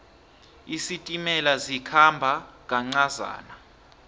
isitimela sikhamba kancazana